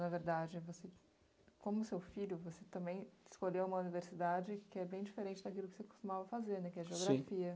Na verdade, você, como seu filho, você também escolheu uma universidade que é bem diferente daquilo que você costumava fazer, né, que é a geografia.